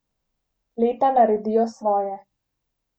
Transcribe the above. Leta naredijo svoje.